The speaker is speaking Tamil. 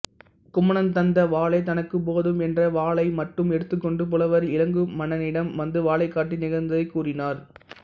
குமணன் தந்த வாளே தனக்குப் போதும் என்று வாளைமட்டும் எடுத்துக்கொண்டு புலவர் இளங்குமணனிடம் வந்து வாளைக் காட்டி நிகழ்ந்ததைக் கூறினார்